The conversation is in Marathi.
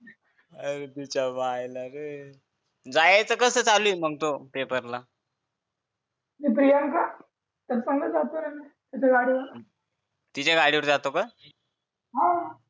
अरे तिच्या मायला रे जायचं कसं चालू आहे मग तो पेपरला ती प्रियांका चाललंय तिच्या गाडीवर तिच्या गाडीवर जातो का हा